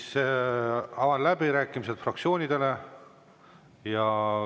Avan läbirääkimised fraktsioonidele.